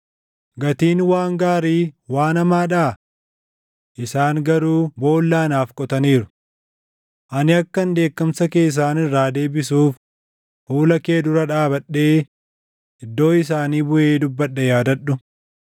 Gatiin waan gaarii waan hamaadhaa? Isaan garuu boolla anaaf qotaniiru. Ani akkan dheekkamsa kee isaan irraa deebisuuf fuula kee dura dhaabadhee iddoo isaanii buʼee dubbadhe yaadadhu.